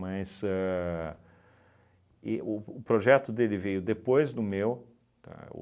a e o o projeto dele veio depois do meu, tá,